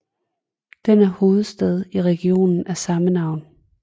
Den er hovedstad i regionen af samme navn